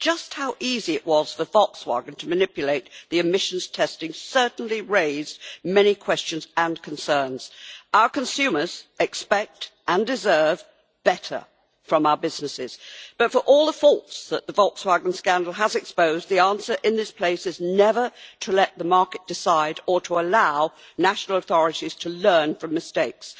Just how easy it was for Volkswagen to manipulate the emissions testing certainly raised many questions and concerns. Our consumers expect and deserve better from our businesses. But for all the faults that the Volkswagen scandal has exposed, the answer in this place is never to let the market decide or to allow national authorities to learn from mistakes.